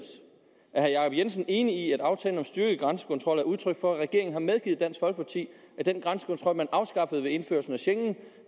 herre jacob jensen enig i at aftalen om styrket grænsekontrol er udtryk for at regeringen har medgivet dansk folkeparti at den grænsekontrol man afskaffede ved indførelsen af schengen